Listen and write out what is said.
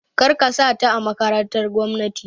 Kar ka sa ta a makarantar gwamnati!